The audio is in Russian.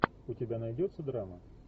у тебя найдется драма